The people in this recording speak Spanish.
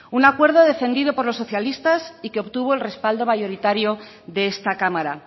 un acuerdo defendido por los socialistas y que obtuvo el respaldo mayoritario de esta cámara